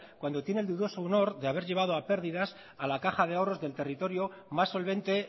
cuando tiene el dudoso honor de haber llevado a pérdidas a la caja de ahorros del territorio más solvente